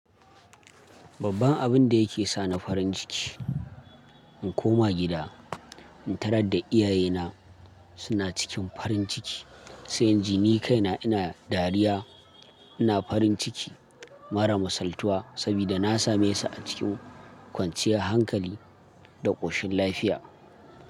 Babban abun da yake sa ni farin ciki, in koma gida, in tarar da iyayena suna cikin farin ciki, sai in ji ni kaina ina dariya. Ina farin ciki marar misaltuwa sobida na same su ah cikin kwanciyar hankali da ƙoshin lafiya.